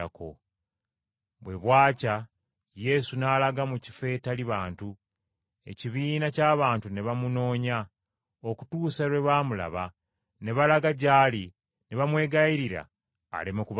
Bwe bwakya Yesu n’alaga mu kifo etali bantu. Ekibiina ky’abantu ne bamunoonya, okutuusa lwe baamulaba ne balaga gy’ali ne bamwegayirira aleme kubavaako.